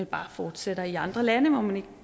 bare fortsætter i andre lande hvor man